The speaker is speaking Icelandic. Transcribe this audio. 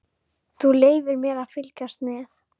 Þú leyfir mér að fylgjast með.